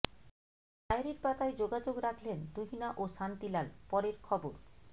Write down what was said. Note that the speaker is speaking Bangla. ডায়েরির পাতায় যোগাযোগ রাখলেন তুহিনা ও শান্তিলাল পরের খবর